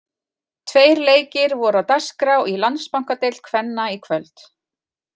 Tveir leikir voru á dagskrá í Landsbankadeild kvenna í kvöld.